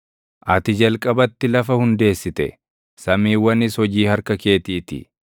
Ati jalqabatti lafa hundeessite; samiiwwanis hojii harka keetii ti.